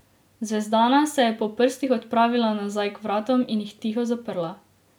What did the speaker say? Zvezdana se je po prstih odpravila nazaj k vratom in jih tiho zaprla.